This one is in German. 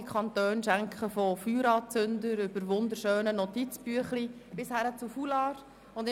Andere Kantone beschenken die Parlamentarierinnen und Parlamentarier mit Feuerzeugen, wunderschönen Notizbüchlein oder Foulards.